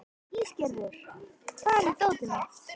Ísgerður, hvar er dótið mitt?